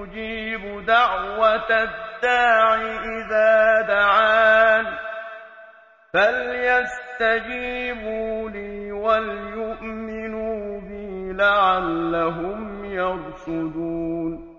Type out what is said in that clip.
أُجِيبُ دَعْوَةَ الدَّاعِ إِذَا دَعَانِ ۖ فَلْيَسْتَجِيبُوا لِي وَلْيُؤْمِنُوا بِي لَعَلَّهُمْ يَرْشُدُونَ